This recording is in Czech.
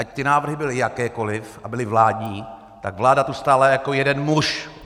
Ať ty návrhy byly jakékoli a byly vládní, tak vláda tu stála jako jeden muž.